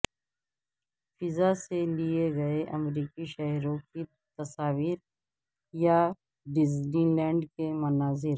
فضا سے لیے گئے امریکی شہروں کی تصاویر یا ڈزنی لینڈ کے مناظر